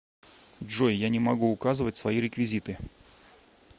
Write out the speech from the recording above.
джой я не могу указывать свои реквизиты